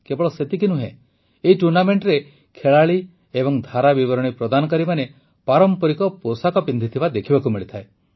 କେବଳ ସେତିକି ନୁହେଁ ଏହି ଟୁର୍ଣ୍ଣାମେଂଟରେ ଖେଳାଳି ଏବଂ ଧାରାବିବରଣୀ ପ୍ରଦାନକାରୀମାନେ ପାରମ୍ପରିକ ପୋଷାକ ପିନ୍ଧିଥିବା ଦେଖିବାକୁ ମିଳିଥାଏ